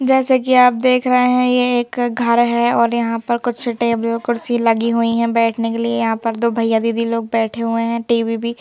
जैसे कि आप देख रहे हैं ये एक घर है और यहां पर कुछ टेबल कुर्सी लगी हुई हैं बैठने के लिए यहां पर दो भैया दीदी लोग बैठे हुए हैं टी_वी भी--